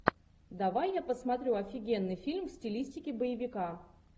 давай я посмотрю офигенный фильм в стилистике боевика